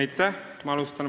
Aitäh!